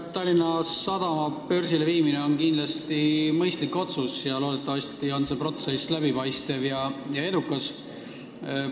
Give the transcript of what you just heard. Tallinna Sadama börsile viimine on kindlasti mõistlik otsus, loodetavasti on see protsess läbipaistev ja edukas.